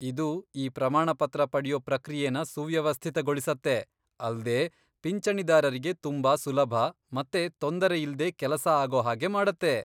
ಇದು ಈ ಪ್ರಮಾಣಪತ್ರ ಪಡ್ಯೋ ಪ್ರಕ್ರಿಯೆನ ಸುವ್ಯವಸ್ಥಿತಗೊಳಿಸತ್ತೆ, ಅಲ್ದೇ ಪಿಂಚಣಿದಾರರಿಗೆ ತುಂಬಾ ಸುಲಭ ಮತ್ತೆ ತೊಂದರೆ ಇಲ್ದೇ ಕೆಲಸ ಆಗೋ ಹಾಗೆ ಮಾಡತ್ತೆ.